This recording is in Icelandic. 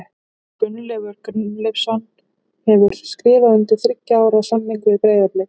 Gunnleifur Gunnleifsson hefur skrifað undir þriggja ára samning við Breiðablik.